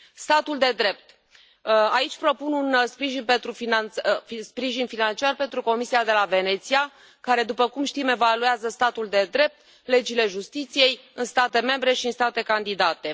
Statul de drept aici propun un sprijin financiar pentru Comisia de la Veneția, care, după cum știm, evaluează statul de drept, legile justiției în state membre și în state candidate.